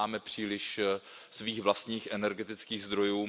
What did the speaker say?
My nemáme příliš svých vlastních energetických zdrojů.